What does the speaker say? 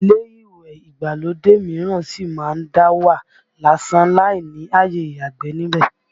Ilé ìwẹ̀ ìgbàlódé mìíràn sì má ń dá wà lásán láì ni àyè ìyàgbẹ̀ níbẹ̀